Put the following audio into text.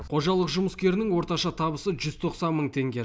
қожалық жұмыскерінің орташа табысы жүз тоқсан мың теңге